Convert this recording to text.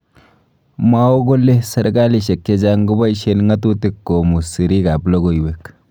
mwao kole serkalisiek chechang kobaisien ndotutik komu sirrik ab lokoiwek